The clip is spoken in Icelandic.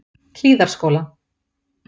Hlíðarskóla